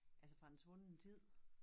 Altså fra en svunden tid